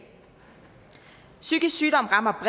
psykisk sygdom rammer